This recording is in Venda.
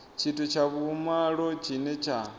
tshithu tsha vhumalo tshine tsha